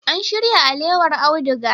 An shirya alewar auduga.